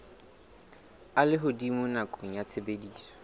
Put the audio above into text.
a lehodimo nakong ya tshebediso